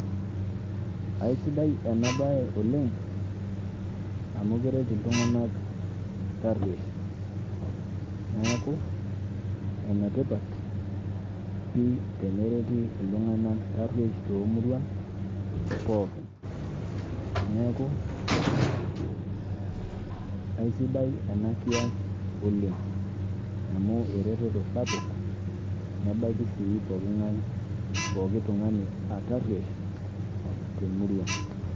Aisidai enabae oleng, amu keret iltung'anak tarruesh. Neeku, enetipat pi tenereti iltung'anak tarruesh tomuruan, pookin. Neeku, aisidai enakias oleng. Amu ereteto sapuk, nebaiki si pooking'ae pooki tung'ani atarruesh temurua.